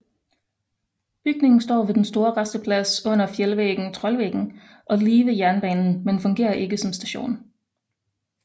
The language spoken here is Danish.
Bygningen står ved den store rasteplads under fjeldvæggen Trollveggen og lige ved jernbanen men fungerer ikke som station